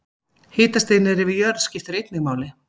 Hitastig niðri við jörð skiptir einnig máli.